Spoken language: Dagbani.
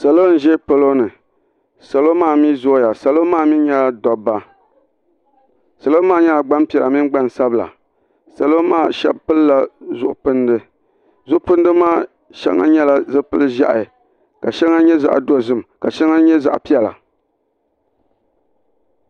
Salo n ʒɛ polo ni. Salo maa mi zooya. Salo maa mi nyela dabba. Salo maa nyela gban piɛla mini gban sabila. Salo maa shebi pilla zuɣu pindi. zuɣu pindi maa sheŋa nyela zipil ʒɛha, ka sheŋa nye zaɣ' piɛla.